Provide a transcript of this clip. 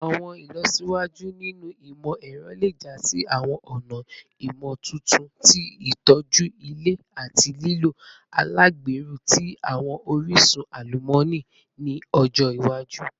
Awọn ilọsiwaju ninu imọ-ẹrọ le ja si awọn ọna imotuntun ti itoju ilẹ ati lilo alagbero ti awọn orisun alumọni ni ọjọ iwaju